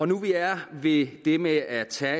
nu vi er ved det med at tage